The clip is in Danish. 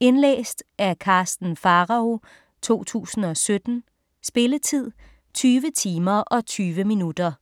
Indlæst af Karsten Pharao, 2017. Spilletid: 20 timer, 20 minutter.